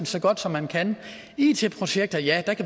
så godt som man kan it projekter ja